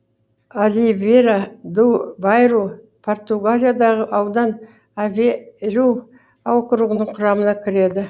оливейра ду байру португалиядағы аудан авей ру округінің құрамына кіреді